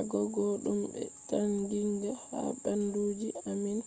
agogo dum be taginga ha banduji ammin